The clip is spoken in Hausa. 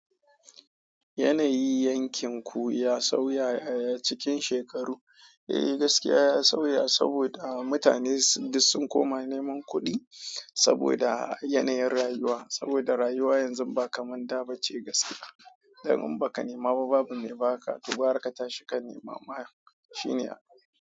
Yanayi yankin ku ya sauya a cikin shekaru? Eh gaskiya ya sauya saboda mutane duk sun koma neman kuɗi saboda yanayin rayuwa. Saboda rayuwa yanzu ba kamar da ba ce gaskiya. Domin in baka nema ba babu me baka gwara ka tashi ka nema ma shine abin.